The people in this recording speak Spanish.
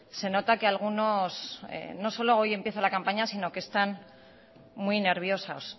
se nota que algunos no solo hoy empieza la campaña sino que están muy nerviosos